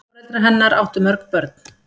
Foreldrar hennar áttu mörg börn.